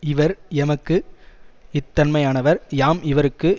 இவர் எமக்கு இத்தன்மையானவர் யாம் இவர்க்கு